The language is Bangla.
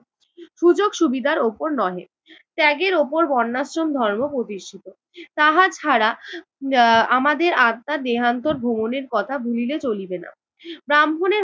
সুযোগ সুবিধার উপর নহে ত্যাগের উপর বর্ণাশ্রম ধর্ম প্রতিষ্ঠিত। তাহা ছাড়া আহ আমাদের আত্মার দেহান্তর ভ্রমণের কথা ভুলিলে চলিবে না। ব্রাহ্মণের